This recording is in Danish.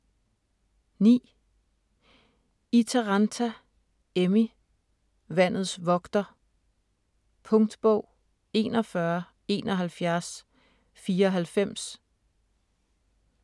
9. Itäranta, Emmi: Vandets vogter Punktbog 417194